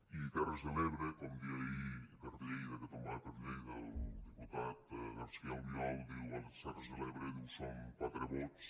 i terres de l’ebre com deia ahir per lleida que tombava per lleida el diputat garcía albiol diu a les terres de l’ebre diu són quatre vots